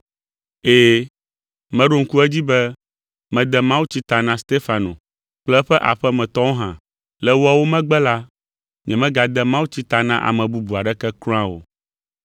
(Ɛ̃, meɖo ŋku edzi be mede mawutsi ta na Stefano kple eƒe aƒemetɔwo hã. Le woawo megbe la, nyemegade mawutsi ta na ame bubu aɖeke kura o.)